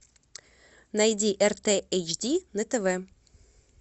найди рт эйч ди на тв